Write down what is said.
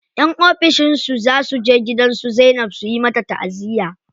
Yan ofishin su za suje gidan su Zainab su yi mata taʼaziya.